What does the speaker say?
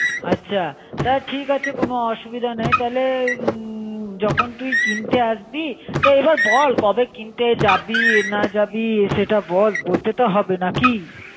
আছা তাহলে ঠিক আছে কোন অসুবিধে নেই তাহলে উম যখন তুই কিনতে আসবি, তো এবার বল কবে কিনতে যাবি না যাবি সেটা বল. বলতে তো হবে নাকি